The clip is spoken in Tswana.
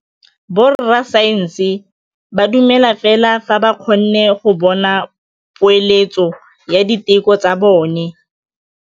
Borra saense ba dumela fela fa ba kgonne go bona poeletsô ya diteko tsa bone.